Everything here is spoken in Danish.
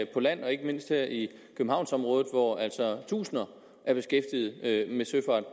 på land ikke mindst her i københavnsområdet hvor altså tusinder er beskæftiget med søfart